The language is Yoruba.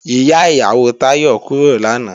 Ìyá ìyàwó Táyọ̀ kúrò lánàá